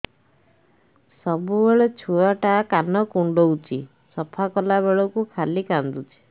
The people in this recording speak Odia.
ସବୁବେଳେ ଛୁଆ ଟା କାନ କୁଣ୍ଡଉଚି ସଫା କଲା ବେଳକୁ ଖାଲି କାନ୍ଦୁଚି